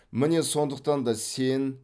міне сондықтан да сен